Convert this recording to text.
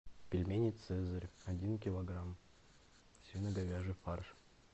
пельмени цезарь один килограмм свино говяжий фарш